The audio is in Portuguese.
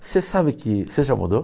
Você sabe que... Você já mudou?